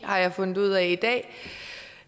har jeg fundet ud af i dag og